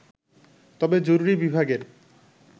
তবে জরুরি বিভাগের